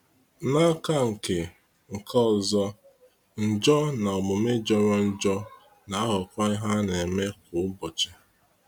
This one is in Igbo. N'aka nke nke ọzọ, njọ na omume jọrọ njọ na aghọkwa ihe a na-eme kwa ụbọchị.